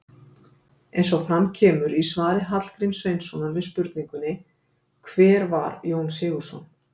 Eins og fram kemur í svari Hallgríms Sveinssonar við spurningunni Hver var Jón Sigurðsson?